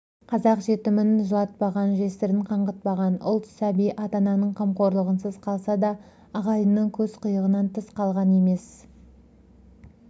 қазақ жетімін жылатпаған жесірін қаңғытпаған ұлт сәби ата-ананың қамқорлығынсыз қалса да ағайынның көз қиығыннан тыс қалған